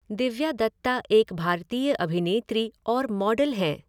दिव्या दत्ता एक भारतीय अभिनेत्री और मॉडल हैं।